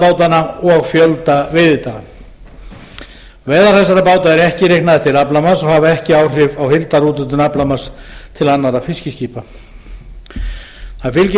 og fjölda veiðidaga veiðar þessara báta eru ekki reiknaðar til aflamarks og hafa ekki áhrif á heildarúthlutun aflamarks til annarra fiskiskipa það fylgir